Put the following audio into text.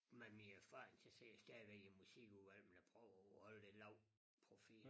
Med min erfaring så sidder jeg stadig i musikudvalg men jeg prøver jo at holde lidt lav profil